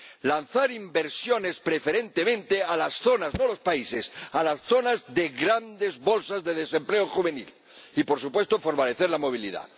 lanzar inversiones preferentemente en las zonas, no en los países, en las zonas de grandes bolsas de desempleo juvenil y, por supuesto, fortalecer la movilidad.